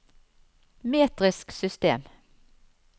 metrisk system